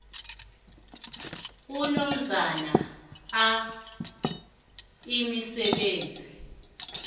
unomzana a imisebenzi